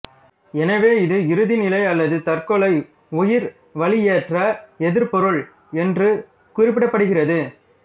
எனவே இது இறுதிநிலை அல்லது தற்கொலை உயிர் வளியேற்ற எதிர்ப்பொருள் என்று குறிப்பிடப்படுகிறது